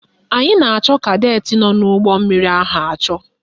Anyị na-achọ kadetị nọ n'ụgbọmmiri ahụ achọ